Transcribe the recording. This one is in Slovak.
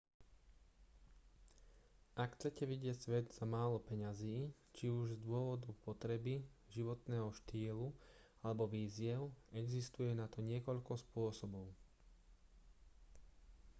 ak chcete vidieť svet za málo peňazí či už z dôvodu potreby životného štýlu alebo výziev existuje na to niekoľko spôsobov